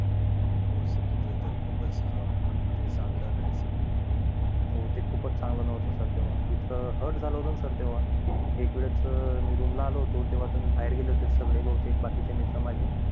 हो sir ते त ते चांगलं नाही sir हो ते खूप च चांगलं नव्हतं sir तेव्हा असं hurt झालं होत ना sir तेव्हा एक वेळेस मी room ला आलो होतो तेव्हा तुम्ही बाहेर गेले होते सगळे बहुतेक बाकी चे मित्र माझे